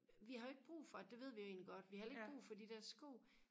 vi har jo ikke brug for det det ved vi jo egentlig godt vi har heller ikke brug for de der sko